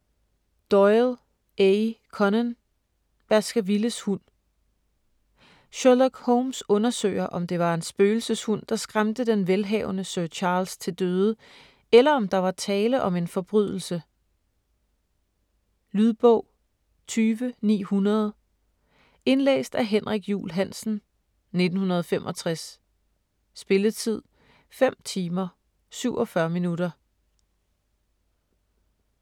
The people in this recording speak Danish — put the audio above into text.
Doyle, A. Conan: Baskervilles hund Sherlock Holmes undersøger, om det var en spøgelseshund, der skræmte den velhavende Sir Charles til døde, eller om der var tale om en forbrydelse. Lydbog 20900 Indlæst af Henrik Juul Hansen, 1965. Spilletid: 5 timer, 47 minutter.